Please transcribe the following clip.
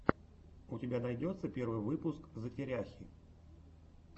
у тебя найдется первый выпуск затеряхи